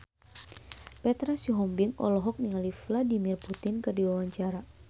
Petra Sihombing olohok ningali Vladimir Putin keur diwawancara